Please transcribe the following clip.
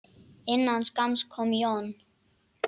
Innan skamms kom John.